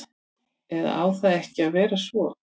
Eða á það ekki að vera svo?